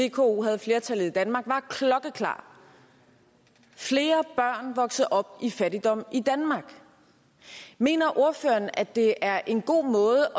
vko havde flertallet i danmark var klokkeklar flere børn voksede op i fattigdom i danmark mener ordføreren at det er en god måde